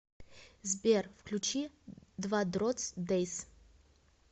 сбер включи двадротс дэйс